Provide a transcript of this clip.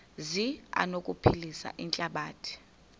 zi anokuphilisa ihlabathi